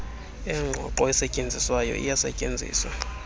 engqongqo esetyenziswayo iyasetyenziswa